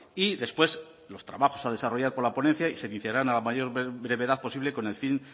y después los trabajos a desarrollar por la ponencia y se iniciarán a la mayor brevedad posible con el fin